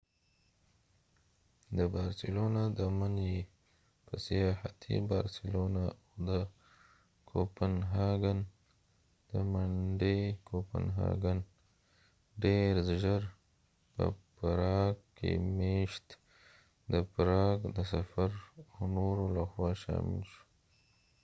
د بارسلونا د من ې په سیاحتی بارسلونا او د کوپنهاګن د منډې کوپنهاګن ډیر ژر په پراګ کې میشت د پراګ د سفر او نورو لخوا شامل شو